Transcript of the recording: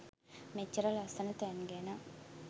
මෙච්චර ලස්සන තැන් ගැන